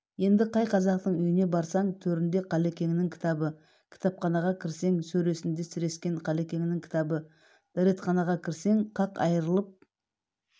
енді қай қазақтың үйіне барсаң төрінде қалекеңнің кітабы кітапханаға кірсең сөресінде сірескен қалекеңнің кітабы дәретханаға кірсең қақ айрылып